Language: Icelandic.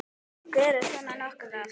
Gerist svona nokkuð oft?